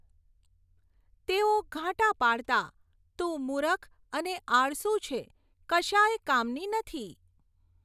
તેઓ ઘાંટા પાડતાં, તું મૂરખ અને આળસુ છે, કશાય કામની નથી!